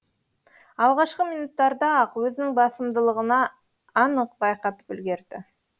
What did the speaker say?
алғашқы минуттарда ақ өзінің басымдылығына анық байқатып үлгерді